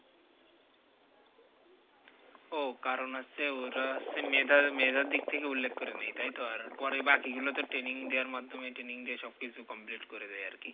ও কারণ আছে ওরা হচ্ছে মেধা মেধার দিক থেকে উল্লেখ করে নি তাইতো আর পরে বাকি গুলোতে training দেওয়ার মাধমে training দিয়ে সবকিছু complete করে দেয় আর কি